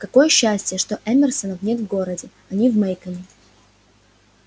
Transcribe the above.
какое счастье что эмерсонов нет в городе они в мейконе